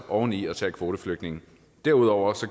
oveni at tage kvoteflygtninge derudover